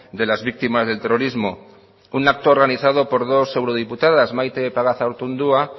de las víctimas del terrorismo un acto organizado por dos eurodiputadas maite pagazaurtundúa